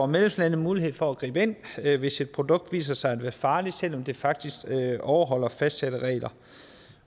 medlemslandene mulighed for at gribe ind hvis et produkt viser sig at være farligt selv om det faktisk overholder fastsatte regler